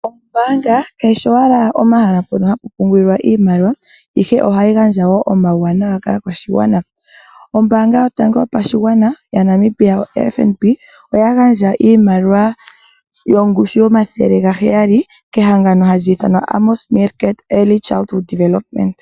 Ombaanga kayi shi owala omahala mpono hapu pungulilwa iimaliwa, ihe ohayi gandja wo omauwanawa kaakwashigwana. Ombaanga yotango yopashigwana yaNamibia, oFNB oya gandja iimaliwa yongushu yomathele gaheyali kehangano hali ithanwa Amos Meerkat Early Childhood development.